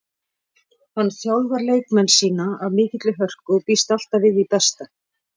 Hann þjálfar leikmenn sína af mikilli hörku og býst alltaf við því besta.